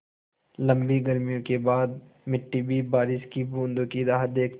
लम्बी गर्मियों के बाद मिट्टी भी बारिश की बूँदों की राह देखती है